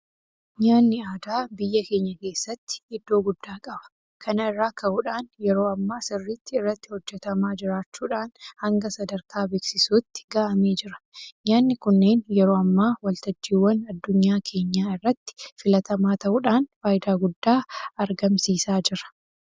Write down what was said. Nyaanni aadaa biyya keenya keessatti iddoo guddaa qaba. Kana irraa ka'uudhaan yeroo ammaa sirriitti irratti hojjetamaa jiraachuudhaan hanga sadarkaa beeksisuutti ga'amee jira. Nyaanni kunneen yeroo ammaa waltajjiiwwan addunyaa keenyaa irratti filatamaa ta'uudhaan faayidaa guddaa argamsiisaa jira.